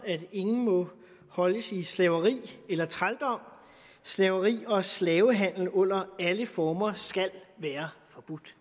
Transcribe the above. at ingen må holdes i slaveri eller trældom slaveri og slavehandel under alle former skal være forbudt